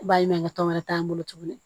Baɲumankɛ tɔn wɛrɛ t'an bolo tuguni